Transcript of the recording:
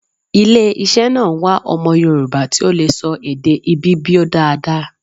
Ile iṣẹ́ náà ń wá ọmọ Yorùbá ti ó lè sọ èdè Ibibio dáadáa